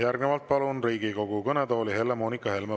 Järgnevalt palun Riigikogu kõnetooli Helle-Moonika Helme.